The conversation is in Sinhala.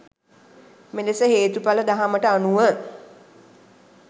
මෙලෙස හේතුඵල දහමට අනුව